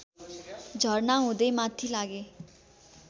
झरना हुँदै माथि लागे